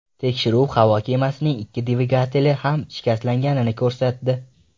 Tekshiruv havo kemasining ikki dvigateli ham shikastlanganini ko‘rsatdi.